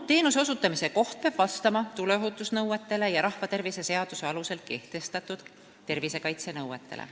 Teenuse osutamise koht peab vastama tuleohutusnõuetele ja rahvatervise seaduse alusel kehtestatud tervisekaitsenõuetele.